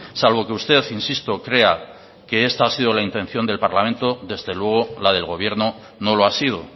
salvo que usted insisto crea que esta ha sido la intención del parlamento desde luego la del gobierno no lo ha sido